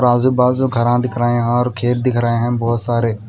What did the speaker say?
आजु बाजू घरा दिख रहे है और खेत दिख रहे है बहोत सारे--